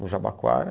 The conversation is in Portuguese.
No Jabaquara.